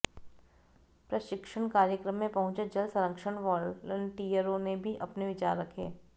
प्रशिक्षण कार्यक्रम में पहुंचे जल संरक्षण वालंटियरो ने भी अपने विचार रखे